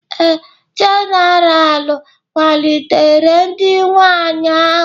Ee, General kwalitere di nwanyị ahụ